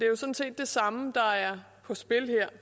jo sådan set det samme der er på spil her